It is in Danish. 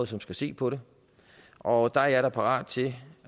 som skal se på det og der er jeg da parat til